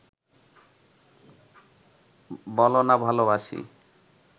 বলনা ভালোবাসি